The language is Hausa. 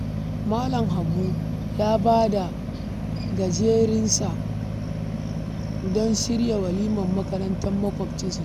Malam Habu ya ba da garejinsa don shirya walimar makarantar maƙwabcinsa Sani